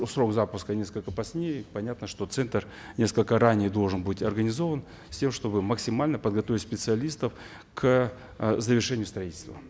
срок запуска несколько позднее понятно что центр несколько ранее должен быть организован с тем чтобы максимально подготовить специалистов к э завершению строительства